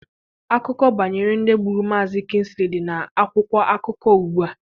Akụkọ banyere ndị gburu Maazi Kịnsịlị dị na akwụkwọ akụkọ ugbua